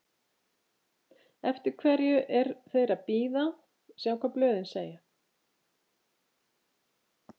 Eftir hverju er þeir að bíða, sjá hvað blöðin segja?